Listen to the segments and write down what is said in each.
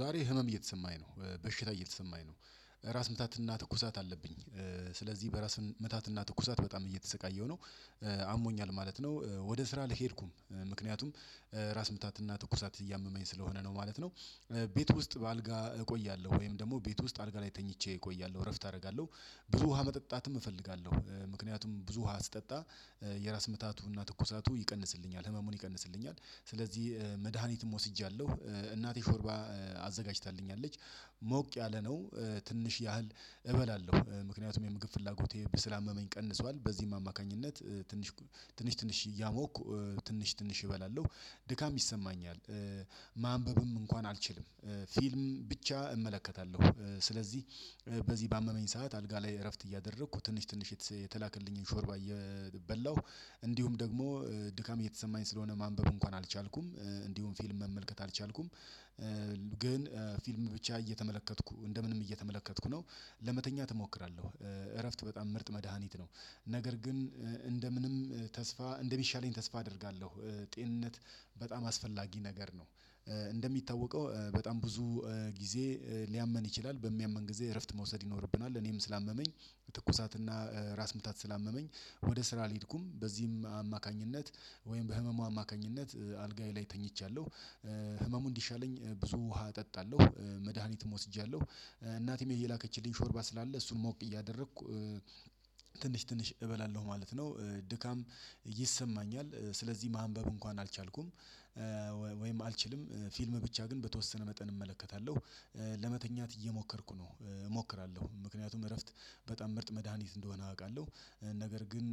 ዛሬ ህመም እየተሰማኝ ነው በሽታ እየተሰማኝ ነው። ራስ ምታትና ትኩሳት አለብኝ። ስለዚህ በራስ ምታትና ትኩሳት በጣም እየተሰቃየሁ ነው። አሞኛል ማለት ነው። ወደ ስራ አልሄድኩም ምክንያቱም ራስ ምታትና ትኩሳት እያመመኝ ስለሆነ ነው ማለት ነው። ቤት ውስጥ በአልጋ እቆያለሁ ወይም ደግሞ ቤት ውስጥ አልጋ ላይ ተኝቼ እቆያለሁ እረፍት አደርጋለሁ። ብዙ ውሃ መጠጣትም እፈልጋለሁ ምክንያቱም ብዙ ውሃ ስጠጣ የራስ ምታቱንና ትኩሳቱን ይቀንስልኛል ህመሙን ይቀንስልኛል። ስለዚህ መድሃኒትም ወስጃለሁ። እናቴ ሾርባ አዘጋጅታለች። ሞቅ ያለ ነው። ትንሽ ያህል እበላለሁ ምክንያቱም የምግብ ፍላጎቴ ስላመመኝ ቀንሷል። በዚህም አማካኝነት ትንሽ ትንሽ ትንሽ እያሞኩ ትንሽ ትንሽ እበላለሁ። ድካም ይሰማኛል። ማንበብም እንኳን አልችልም። ፊልም ብቻ እመለከታለሁ። ስለዚህ በዚህ ባመመኝ ሰዓት አልጋ ላይ እረፍት እያደረኩ ትንሽ ትንሽ የተላከልኝን ሾርባ እየበላሁ። እንዲሁም ደግሞ ድካም እየተሰማኝ ስለሆነ ማንበብ እንኳን አልቻልኩም። እንዲሁም ፊልም መመልከት አልቻልኩም። ግን ፊልም ብቻ እየተመለከትኩ እንደ ምንም እየተመለከትኩ ነው። ለመተኛት እሞክራለሁ። እረፍት በጣም ምርጥ መድሃኒት ነው። ነገር ግን እንደ ምንም ተስፋ እንደሚሻለኝ ተስፋ አደርጋለሁ። ጤንነት በጣም አስፈላጊ ነገር ነው። እንደሚታወቀው በጣም ብዙ ጊዜ ሊያመን ይችላል በሚያመን ጊዜ እረፍት መውሰድ ይኖርብናል እኔም። ስላመመኝ ትኩሳትና ራስ ምታት ስላመመኝ ወደ ስራ አልሄድኩም በዚህም አማካኝነት ወይም በህመሙ አማካኝነት አልጋዬ ላይ ተኝቻለሁ። ህመሙ እንዲሻለኝ ብዙ ውሃ እጠጣለሁ። መድሃኒት ወስጃለሁ። እናቴም የላከችልኝ ሾርባ ስላለ እሱን ሞቅ እያደረኩ ትንሽ ትንሽ እበላለሁ ማለት ነው። ድካም ይሰማኛል ስለዚህ ማንበብ እንኳን አልቻልኩም። ወይም አልችልም ፊልም ብቻ ግን በተወሰነ መጠን እመለከታለሁ። ለመተኛት እየሞከርኩ ነው። እሞክራለሁ ምክንያቱም እረፍት በጣም ምርጥ መድሃኒት እንደሆነ አውቃለሁ። ነገር ግን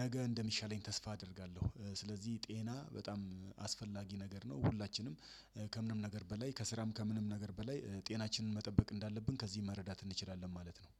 ነገ እንደሚሻለኝ ተስፋ አደርጋለሁ። ስለዚህ ጤና በጣም አስፈላጊ ነገር ነው ሁላችንም ከምንም ነገር በላይ ከስራም ከምንም ነገር በላይ ጤናችንን መጠበቅ እንዳለብን ከዚህ መረዳት እንችላለን ማለት ነው።